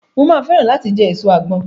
Mo máa fẹ́ràn láti jẹ èso àgbọn.